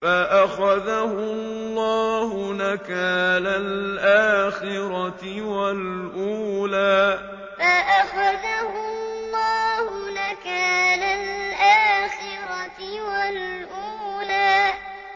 فَأَخَذَهُ اللَّهُ نَكَالَ الْآخِرَةِ وَالْأُولَىٰ فَأَخَذَهُ اللَّهُ نَكَالَ الْآخِرَةِ وَالْأُولَىٰ